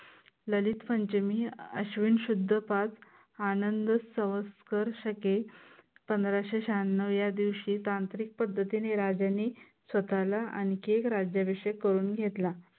ललित पंचमी अश्विन शुद्ध पाच आनंद सौंत्सर शके पंधराशे शहाण्णव या दिवशी तांत्रिक पद्धतीनी राज्यांनी स्वतःला आनखी एक राज्याभिषेक करून घेतला.